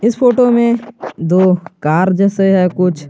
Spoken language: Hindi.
इस फोटो में दो कार जैसे है कुछ।